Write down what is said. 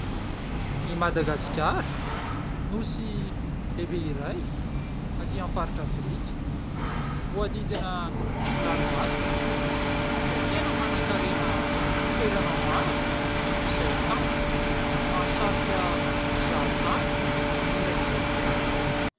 I Madagasikara, Nosy lehibe iray aty amin'ny faritra Afrika. Voahodidina ranomasina; dia tena mana-karena toerana maro izay kanto, mahasarika mpizahan-tany manerana an'izao tontolo izao.